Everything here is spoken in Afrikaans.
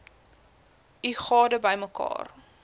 u gade bymekaar